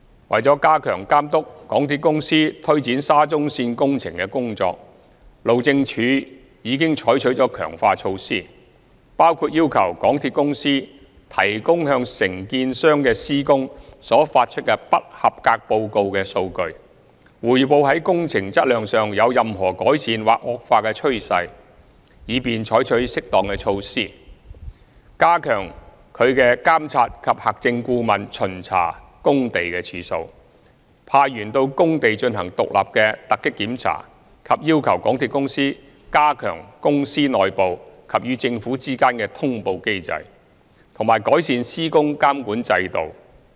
為加強監督港鐵公司推展沙中線工程的工作，路政署已採取了強化措施，包括要求港鐵公司提供向承建商的施工所發出的"不及格報告"的數據，匯報在工程質量上有任何改善或惡化的趨勢，以便採取適當的措施、加強其"監察及核證顧問"巡查工地的次數、派員到工地進行獨立的突擊檢查、要求港鐵公司加強公司內部及與政府之間的通報機制，以及改善施工監管制度。